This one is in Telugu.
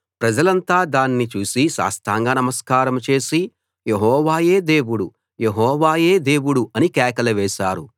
ప్రజలంతా దాన్ని చూసి సాష్టాంగ నమస్కారం చేసి యెహోవాయే దేవుడు యెహోవాయే దేవుడు అని కేకలు వేశారు